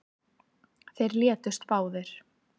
Þeir létust báðir